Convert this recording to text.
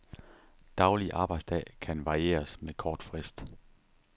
Daglig arbejdsdag kan varieres med kort frist.